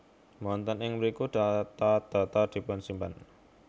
Wonten ing mriku data data dipunsimpen